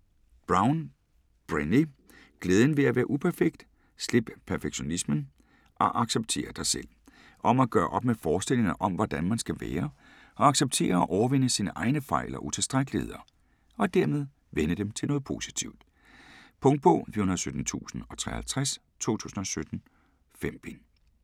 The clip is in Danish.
Brown, Brené: Glæden ved at være uperfekt: slip perfektionismen, og accepter dig selv Om at gøre op med forestillingerne om hvordan man skal være, og acceptere og overvinde sine egne fejl og utilstrækkeligheder, og dermed vende dem til noget positivt. Punktbog 417053 2017. 5 bind.